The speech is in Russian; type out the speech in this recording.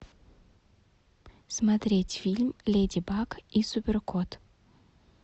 смотреть фильм леди баг и супер кот